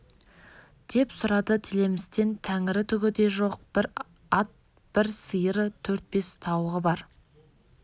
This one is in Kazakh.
деп сұрады тілемістен тәңірі түгі де жоқ бір ат бір сиыры төрт-бес тауығы бар